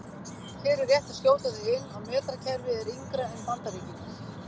Hér er rétt að skjóta því inn að metrakerfið er yngra en Bandaríkin.